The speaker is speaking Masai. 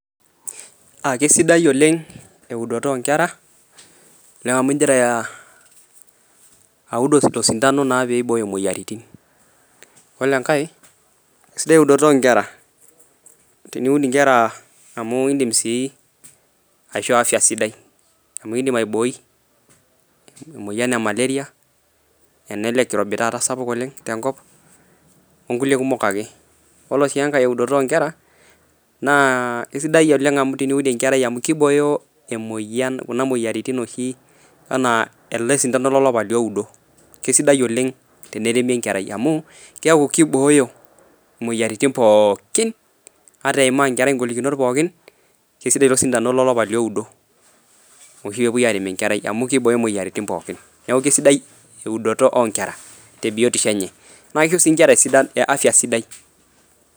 kesidai oleng eeudoto oonkera amuu inkira naa awud oosindano peeiyie iboyoo imuuyiaritin oree enkae sidai uudoto ohh nkera teniwud inkera amuu idim sii aishoo afya sidai amuu idiim aiboii emueyian ee maleria ele kirobii taata sapuk oleng tenkop ooo nkulie kumok akee koree sii enkae udotoo ohh nkera kesidai oleng teniwud enkerai amuu kiboyoo emweyian kuna mweyiaritin enaa ele sindanoo lolapa liudoo kesidai oleng teneremi enkerai amuuu kiaku kiboyoo imweyiaritin pooki ataa teneiaamaa enkerai inkolikinot pooki kesidai taaa ooo sindano loliapaa lioduuu amu kiboyoo imweyeritin pooki niaku kesidai ewudoto ohh inkera teebiotishu enye naa kishoo sii inkera afya sidai.